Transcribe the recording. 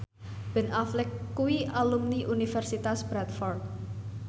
Ben Affleck kuwi alumni Universitas Bradford